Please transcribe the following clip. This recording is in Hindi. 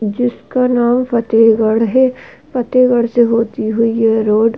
जिसका नाम फतेहगढ़ है। फतेहगढ़ से होती हुई ये रोड --